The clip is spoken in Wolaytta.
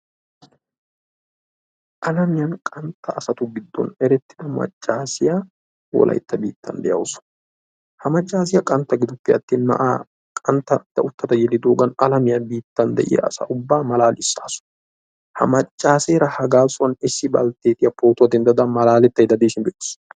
Alaamiyanb qantta asaatu gidon eretiya maccasiya wolaytta biitan deawusu. Ha maccasiya qantta giduppeattin na'aa gida uttada yelidogan alaamiya biitan de'iya asaa ubba malalisasu. Ha maccasera ha gasuwan issi balttetiya malaaletayda pootuwaa dendaydda deishin be'etes.